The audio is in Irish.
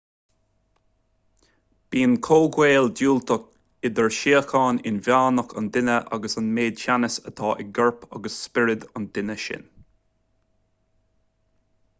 bíonn comhghaol diúltach idir síocháin inmheánach an duine agus an méid teannais atá i gcorp agus spiorad an duine sin